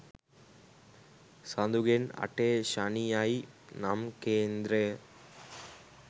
සඳුගෙන් අටේ ශනි යයි නම් කේන්ද්‍රය